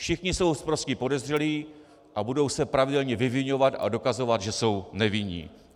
Všichni jsou sprostí podezřelí a budou se pravidelně vyviňovat a dokazovat, že jsou nevinní.